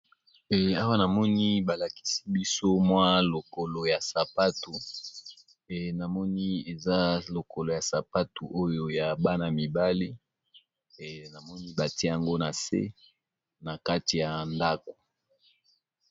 Eee awa namoni balakisibiso mwa lokolo ya sapatu eee namoni eza lokoloyasapato oyo yabana mibali eee namoni batiyango nase nakati yandaku